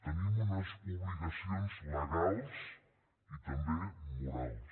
tenim unes obligacions legals i també morals